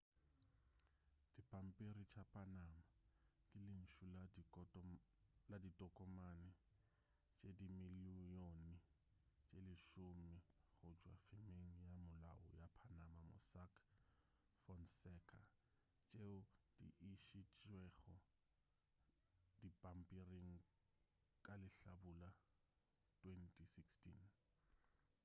dipampiri tša panama ke lentšu la ditokomane tše dimilione tše lesome go tšwa femeng ya molao ya panama mossack fonseca tšeo di išitšwego dipampiring ka lehlabula 2016